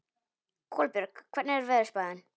Kolbjörg, hvernig er veðurspáin?